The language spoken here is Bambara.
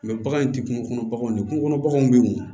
bagan in tɛ kungo kɔnɔ baganw de kungo kɔnɔ baganw bɛ yen wo